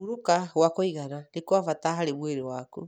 Kũhurũka gwa kũigana nĩ kwa bata harĩ mwĩrĩ waku.